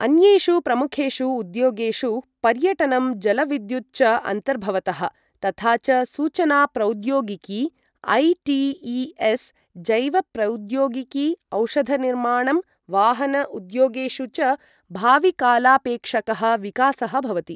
अन्येषु प्रमुखेषु उद्योगेषु पर्यटनं जलविद्युत् च अन्तर्भवतः, तथा च सूचना प्रौद्योगिकी, ऐ.टी.ई.एस्, जैवप्रौद्योगिकी, औषधनिर्माणं, वाहन उद्योगेषु च भाविकालापेक्षकः विकासः भवति।